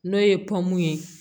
N'o ye ye